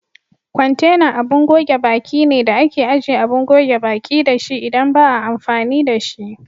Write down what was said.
Kwantenan abin goge baki ne da ake ajiye Abin goge baƙi dashi idan ba a amfani da shi.